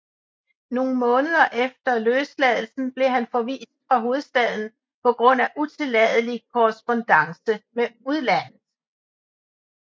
Nogle måneder efter løsladelsen blev han forvist fra hovedstaden på grund af utilladelig korrespondance med udlandet